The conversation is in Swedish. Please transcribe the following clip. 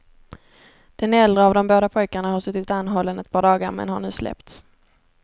Den äldre av de båda pojkarna har suttit anhållen ett par dagar men har nu släppts.